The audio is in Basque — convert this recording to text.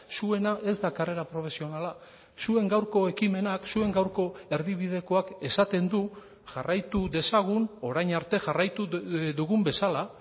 zuena ez da karrera profesionala zuen gaurko ekimenak zuen gaurko erdibidekoak esaten du jarraitu dezagun orain arte jarraitu dugun bezala